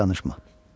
Artıq danışma.